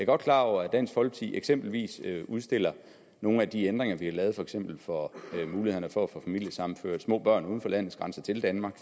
godt klar over at dansk folkeparti eksempelvis udstiller nogle af de ændringer vi har lavet for eksempel for mulighederne for at få familiesammenført små børn uden for landets grænser til danmark